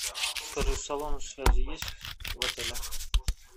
скажи салон связи есть в отеле